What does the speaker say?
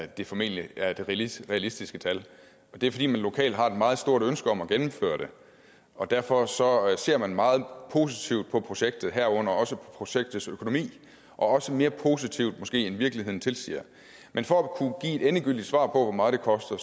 der formentlig er det realistiske realistiske tal det er fordi man lokalt har et meget stort ønske om at gennemføre det og derfor ser man meget positivt på projektet herunder projektets økonomi også mere positivt måske end virkeligheden tilsiger men for at kunne give et endegyldigt svar på hvor meget det koster